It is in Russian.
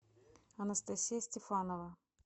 анастасия стефанова